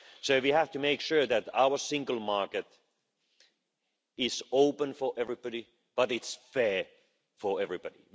So we have to make sure that our single market is open for everybody, but is fair for everybody.